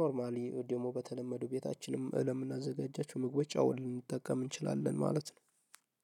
ኖርማሊ ወይም ደግሞ በተለመደው በታችንም ለምናዘጋጃቸው ምግቦች አውለን ልንጠቀም እንችላለን ማለት ነው።